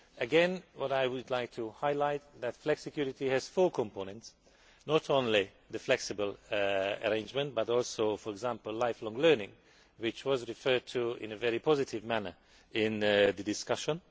Again, what I would like to highlight is that flexicurity has four components not only the flexible arrangement, but also, for example, lifelong learning, which was referred to in a very positive manner in the discussion.